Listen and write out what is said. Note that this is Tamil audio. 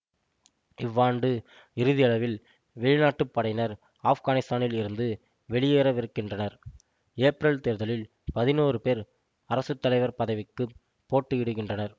இவ்வாண்டு இறுதியளவில் வெளிநாட்டுப் படையினர் ஆப்கானித்தானில் இருந்து வெளியேறவிருக்கின்றனர் ஏப்ரல் தேர்தலில் பதினோரு பேர் அரசு தலைவர் பதவிக்குப் போட்டியிடுகின்றனர்